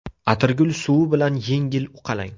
Atirgul suvi bilan yengil uqalang.